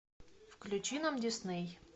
включи нам дисней